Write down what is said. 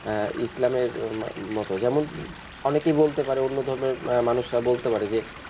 আহ ইসলামের মতো যেমন অনেকেই বলতে পারে অন্য ধর্মের মানুষরা বলতে পারে যে,